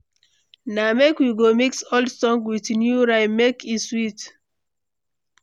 Na make we go mix old song with new rhythm, make e sweet.